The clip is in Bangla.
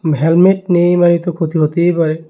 হেলমেট নেই মানেই তো ক্ষতি হতেই পারে।